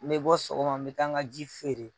Ne be bɔ sɔgɔma n be taa n ka ji feere.